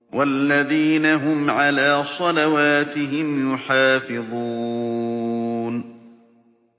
وَالَّذِينَ هُمْ عَلَىٰ صَلَوَاتِهِمْ يُحَافِظُونَ